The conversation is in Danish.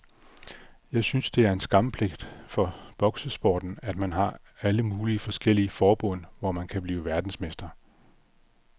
Jeg synes det er en skamplet for boksesporten, at man har alle mulige forskellige forbund, hvor man kan blive verdensmester.